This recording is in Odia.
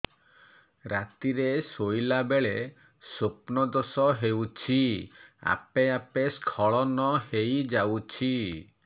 ରାତିରେ ଶୋଇଲା ବେଳେ ସ୍ବପ୍ନ ଦୋଷ ହେଉଛି ଆପେ ଆପେ ସ୍ଖଳନ ହେଇଯାଉଛି